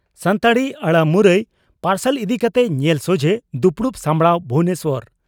ᱥᱟᱱᱛᱟᱲᱤ ᱟᱹᱲᱟᱹ ᱢᱩᱨᱩᱭ ᱯᱟᱨᱥᱟᱞ ᱤᱫᱤ ᱠᱟᱛᱮ ᱧᱮᱞ ᱥᱚᱡᱷᱮ ᱫᱩᱯᱲᱩᱵ ᱥᱟᱯᱲᱟᱣ ᱵᱷᱩᱵᱚᱱᱮᱥᱚᱨ